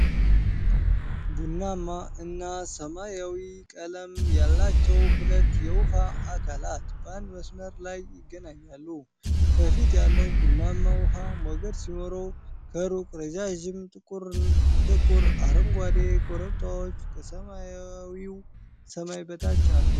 ቡናማማ እና ሰማያዊ ቀለም ያላቸው ሁለት የውሃ አካላት በአንድ መስመር ላይ ይገናኛሉ። ከፊት ያለው ቡናማ ውሃ ሞገድ ሲኖረው፣ ከሩቅ ረዣዥም ጥቁር አረንጓዴ ኮረብታዎች ከሰማያዊ ሰማይ በታች አሉ።